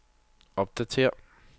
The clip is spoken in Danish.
opdatér